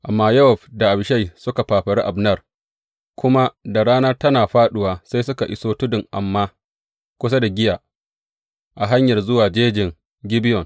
Amma Yowab da Abishai suka fafari Abner, kuma da rana tana fāɗuwa sai suka iso tudun Amma, kusa da Giya, a hanyar zuwa jejin Gibeyon.